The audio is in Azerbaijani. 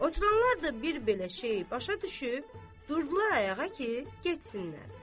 Oturanlar da bir belə şeyi başa düşüb, durdular ayağa ki, getsinlər.